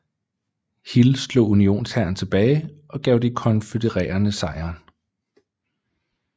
Hill slog Unionshæren tilbage og gav de konfødererede sejren